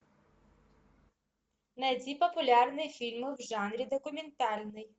найди популярные фильмы в жанре документальный